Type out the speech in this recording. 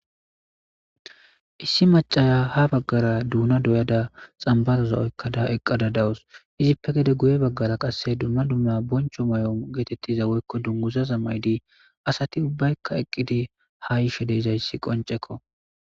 Issi macaya ha baggara duuna doyada xambazoza oykkada eqqada dawus izippe gede guye baggara qasse dumma dumma boncho may'om geetettiza woykko dunguza zammaydi asati ubbaykka eqqidi ha ishe deezayssi qoncekko.